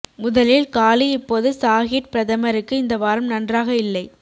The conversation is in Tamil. முதலில் காலித் இப்போது ஸாஹிட் பிரதமருக்கு இந்த வாரம் நன்றாக இல்லை